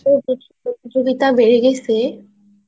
এত প্রতিযোগিতা বেড়ে গেছে